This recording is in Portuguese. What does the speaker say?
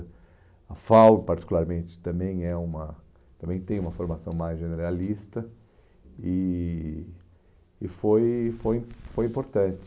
A FAU, particularmente, também é uma, também tem uma formação mais generalista e e foi foi foi importante.